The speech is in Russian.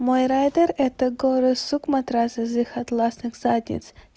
мой райдер это горы сук матрас из их атласных задниц